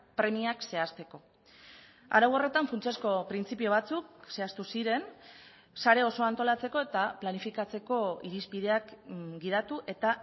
premiak zehazteko arau horretan funtsezko printzipio batzuk zehaztu ziren sare osoa antolatzeko eta planifikatzeko irizpideak gidatu eta